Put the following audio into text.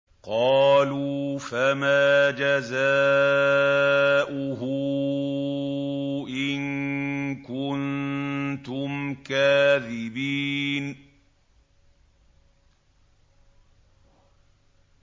قَالُوا فَمَا جَزَاؤُهُ إِن كُنتُمْ كَاذِبِينَ